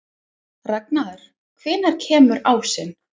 Ragnar, hvenær kemur ásinn?